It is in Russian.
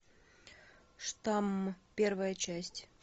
штамм первая часть